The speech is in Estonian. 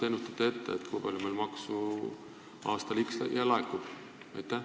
Või kuidas te ennustate seda, kui palju meil aastal x maksu laekub?